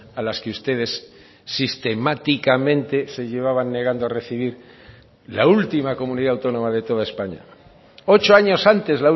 a las que ustedes sistemáticamente se llevaban negando a recibir la última comunidad autónoma de toda españa ocho años antes